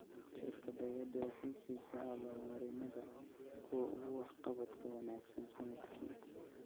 Shirkaddayadu waxay siisaa abaal-marinnada kuwa ugu waxqabadka wanaagsan sannadkii.